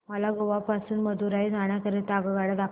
मला गोवा पासून मदुरई जाण्या करीता आगगाड्या दाखवा